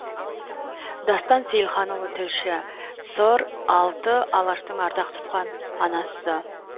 дастан сейілханұлы тілші сыр алты алаштың ардақ тұтқан анасы